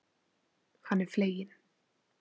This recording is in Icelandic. Hann er fleginn.